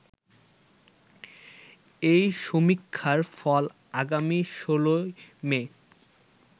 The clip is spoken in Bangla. এ সমীক্ষার ফল আগামী ১৬ মে